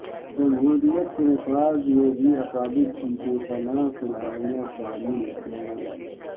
جمہوریت کے نفاذ میں بھی اکابر کی بے پناہ قربانیاں شامل ہیں